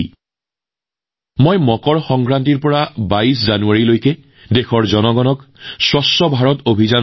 মই দেশবাসীক অনুৰোধ কৰিছিলোঁ যে মকৰ সংক্ৰান্তিৰ পৰা ২২ জানুৱাৰীলৈকে স্বচ্ছতা অভিযান চলাওক